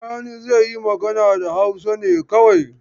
Sani zai yi magana da Hausa ne kawai.